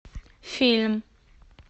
фильм